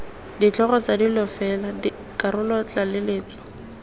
ditlhogo tsa dilo fela dikarolotlaleletso